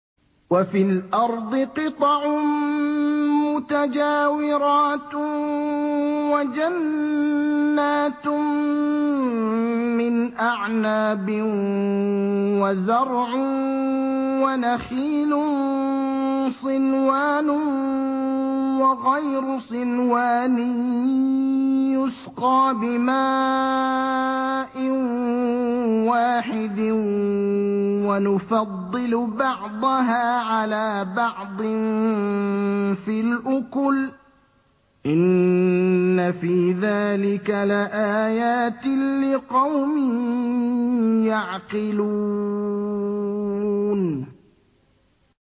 وَفِي الْأَرْضِ قِطَعٌ مُّتَجَاوِرَاتٌ وَجَنَّاتٌ مِّنْ أَعْنَابٍ وَزَرْعٌ وَنَخِيلٌ صِنْوَانٌ وَغَيْرُ صِنْوَانٍ يُسْقَىٰ بِمَاءٍ وَاحِدٍ وَنُفَضِّلُ بَعْضَهَا عَلَىٰ بَعْضٍ فِي الْأُكُلِ ۚ إِنَّ فِي ذَٰلِكَ لَآيَاتٍ لِّقَوْمٍ يَعْقِلُونَ